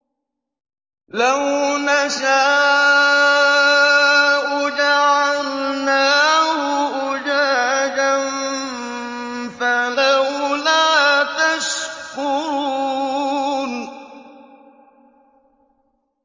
لَوْ نَشَاءُ جَعَلْنَاهُ أُجَاجًا فَلَوْلَا تَشْكُرُونَ